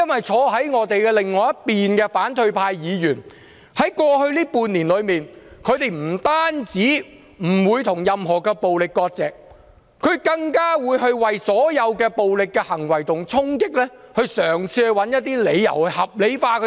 坐在我們另一邊的反對派議員，在過去半年不單沒有跟任何暴力割席，更會為所有暴力行為和衝擊嘗試找一些理由，予以合理化。